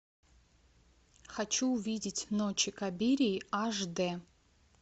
хочу увидеть ночи кабирии аш д